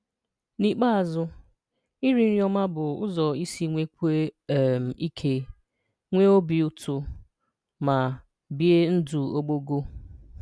N’íkpéazụ̀, ìrì nrí ọmà bụ̀ ụzọ́ ìsi nwèkwùò um ìkè, nweè ọ̀bì ùtù, ma bìè̀ ndù̀ ógbògo